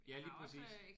Ja lige præcis